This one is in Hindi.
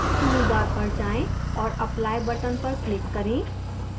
toolbar पर जाएं और apply button पर click करें